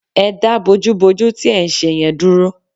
Ẹ dá bójúbojú tí ẹ̀ ń ṣe yẹn dúró